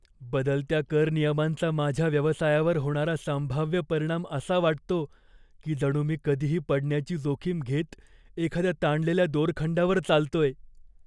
बदलत्या कर नियमांचा माझ्या व्यवसायावर होणारा संभाव्य परिणाम असा वाटतो की जणू मी कधीही पडण्याची जोखीम घेत एखाद्या ताणलेल्या दोरखंडावर चालतोय.